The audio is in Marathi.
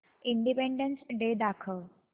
इंडिपेंडन्स डे दाखव